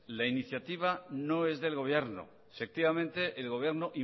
la iniciativa no es del gobierno efectivamente el gobierno